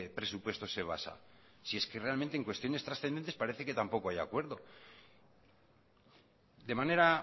presupuesto se basa si es que realmente en cuestiones transcendentes parece que tampoco hay acuerdo de manera